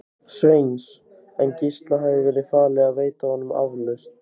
Sveins, en Gísla hafði verið falið að veita honum aflausn.